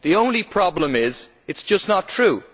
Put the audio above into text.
The only problem is, it is just not true.